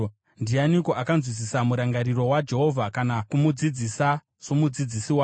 Ndiani akanzwisisa murangariro waJehovha, kana kumudzidzisa somudzidzisi wake?